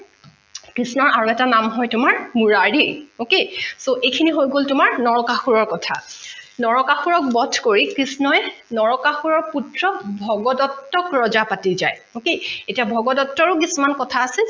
কৃষ্ণৰ আৰু এটা নাম হয় তোমাৰ মূৰাৰী okay so এইখিনি হৈ গল তোমাৰ নৰকাসুৰৰ কথা নৰকাসুৰক বধ কৰি কৃষ্ণই নৰকাসুৰৰ পুত্ৰ ভগদট্তক ৰজা পাতি যায় okay এতিয়া ভগদট্তৰো কিছুমান কথা আছে